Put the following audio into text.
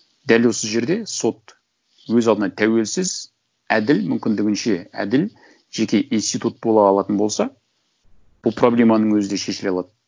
дәл осы жерде сот өз алдына тәуелсіз әділ мүмкіндігінше әділ жеке институт бола алатын болса бұл проблеманың өзі да шешіле алады